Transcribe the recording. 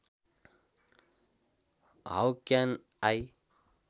how can I